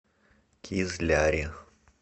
кизляре